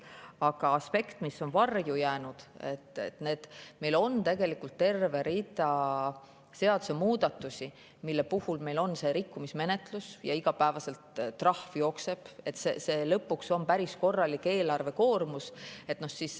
Aga aspekt, mis on varju jäänud, on see, et meil on tegelikult terve rida seadusemuudatusi, mille puhul meil on rikkumismenetlus ja iga päev trahv jookseb, nii et lõpuks on see eelarvele päris korralik koormus.